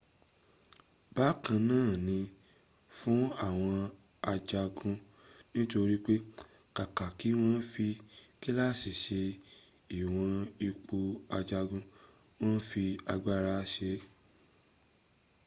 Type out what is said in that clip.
bákan na ni fún àwọn ajagun nítorí pẹ kàkà kí wọn fi kíláàsi sẹ ìwọ̀n ipò ajagun wọn fi agbára sẹ e